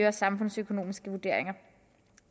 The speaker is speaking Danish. og samfundsøkonomiske vurderinger